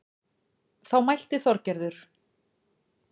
Þá mælti Þorgerður